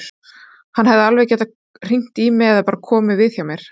Hann hefði alveg getað hringt í mig eða bara komið við hjá mér.